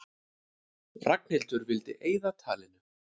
Ragnhildur vildi eyða talinu.